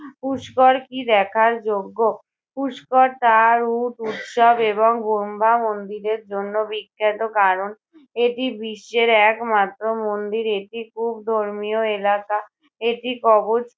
পুষ্কর কি দেখার যোগ্য? পুষ্কর তার উট উৎসব এবং ব্রহ্মা মন্দিরের জন্য বিখ্যাত কারণ এটি বিশ্বের এক মাত্র মন্দির এটি খুব ধর্মীয় এলাকা, এটি কবচ